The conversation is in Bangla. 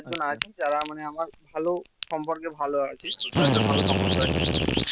জন আছে আচ্ছা যারা মানে আমার ভালো সম্পর্কে ভালো আছে তাদের সঙ্গে সম্পর্ক ভালো আছে